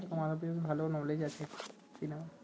তোমারও বেশ ভাল আছে তিনা